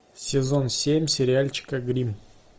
сезон семь сериальчика гримм